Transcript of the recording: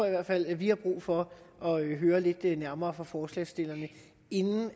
i hvert fald at vi har brug for at høre lidt nærmere om fra forslagsstillerne inden